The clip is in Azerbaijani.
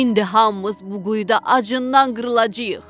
İndi hamımız bu quyuda acından qırılacağıq.